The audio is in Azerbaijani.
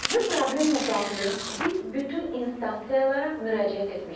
Bu problemlə bağlı biz bütün instansiyalara müraciət etmişik.